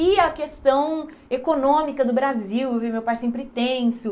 E a questão econômica do Brasil, eu vi meu pai sempre tenso.